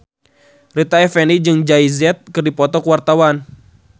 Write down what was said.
Rita Effendy jeung Jay Z keur dipoto ku wartawan